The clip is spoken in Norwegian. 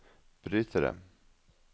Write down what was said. brytere